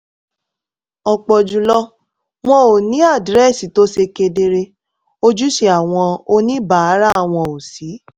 ọ̀pọ̀ jù lọ wọn ò ní àdírẹ́sì tó ṣe kedere ojúṣe àwọn oníbàárà wọn ò sì